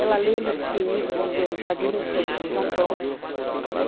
Ela lembra de ter ido, vamos dizer, no Jardim da Infância, no Japão.